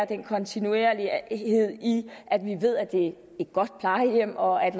kontinuerlighed i at vi ved at det er et godt plejehjem og at